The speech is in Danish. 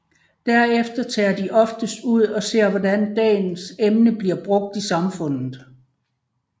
Derefter tager de oftest ud og ser hvordan dagens emne bliver brugt i samfundet